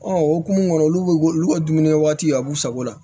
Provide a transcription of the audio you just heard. Ɔ o hukumu kɔnɔ olu bɛ olu ka dumunikɛ waati a b'u sago la